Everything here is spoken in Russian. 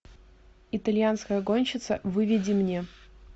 итальянская гонщица выведи мне